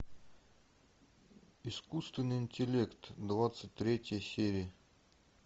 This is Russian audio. искусственный интеллект двадцать третья серия